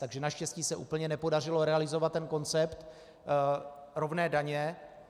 Takže naštěstí se úplně nepodařilo realizovat ten koncept rovné daně.